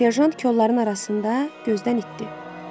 Serjant kolların arasında gözdən itdi.